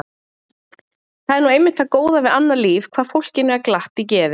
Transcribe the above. Það er nú einmitt það góða við annað líf hvað fólkinu er glatt í geði.